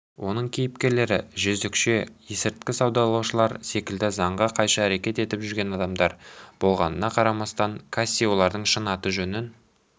оның кейіпкерлері жезөкше есірткі саудалаушылар секілді заңға қайшы әрекет етіп жүрген адамдар болғанына қарамастан касси олардың шын аты-жөнін